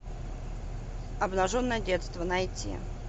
обнаженное детство найти